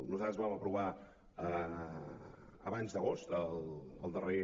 nosaltres vam aprovar abans d’agost el darrer